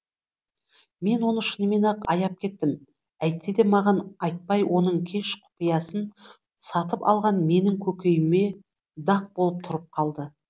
мен оны шынымен ақ аяп кеттім әйтсе де маған айтпай оның кеш құпиясын сатып алғаны менің көкейіме дақ болып тұрып қалды